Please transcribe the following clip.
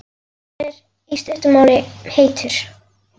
Hann er, í stuttu máli, heitur.